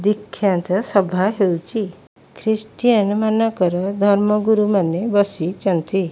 ବିଖ୍ୟାତ ସଭା ହେଉଛି ଖ୍ରୀଷ୍ଟିଆନ ମାନଙ୍କର ଧର୍ମ ଗୁରୁମାନେ ବସିଚନ୍ତି।